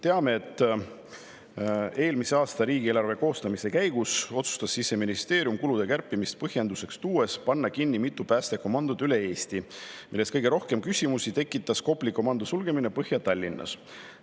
Teame, et eelmise aasta riigieelarve koostamise käigus otsustas Siseministeerium kulude kärpimist põhjenduseks tuues panna kinni mitu päästekomandot üle Eesti, millest kõige rohkem küsimusi tekitas Kopli komando sulgemine Põhja-Tallinnas.